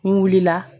N wulila